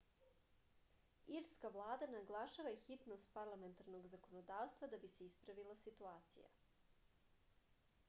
irska vlada naglašava hitnost parlamentarnog zakonodavstva da bi se ispravila situacija